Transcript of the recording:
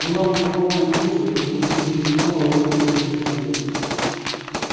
но нам с папой хочется чтобы ты не принимала поспешных решений